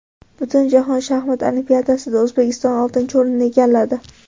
Butunjahon shaxmat olimpiadasida O‘zbekiston oltinchi o‘rinni egalladi.